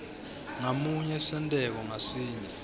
ngamunye senteko ngasinye